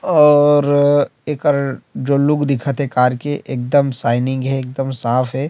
अउर एकर जो लोग दिखत हे कार के एकदम शाइनिंग हे एकदम साफ हे।